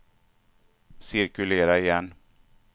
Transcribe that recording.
cirkulera igen